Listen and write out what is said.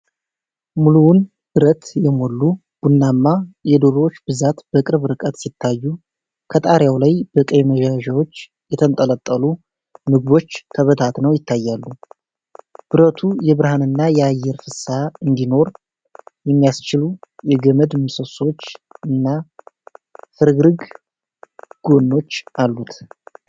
ሙሉውን በረት የሞሉ ቡናማ የዶሮዎች ብዛት በቅርብ ርቀት ሲታዩ፣ ከጣሪያው ላይ በቀይ መያዣዎች የተንጠለጠሉ ምግቦች ተበታትነው ይታያሉ። በረቱ የብርሃንና የአየር ፍሰት እንዲኖር የሚያስችሉ የገመድ ምሰሶዎችና ፍርግርግ ጎኖች አሉት።